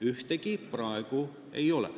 Ühtegi praegu enam ei ole.